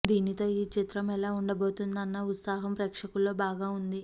దీనితో ఈ చిత్రం ఎలా ఉండబోతుందా అన్న ఉత్సాహం ప్రేక్షకుల్లో బాగా ఉంది